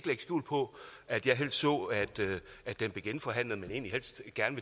skjul på at jeg helst så at den blev genforhandlet men egentlig helst gerne